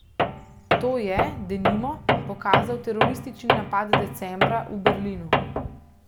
To je, denimo, pokazal teroristični napad decembra v Berlinu.